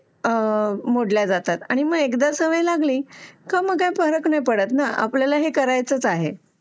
मोडल्या जातात आणि मग एकदा सवय लागली की मग काय फरक पडत नाही ना की आपल्याला हे करायचं आहे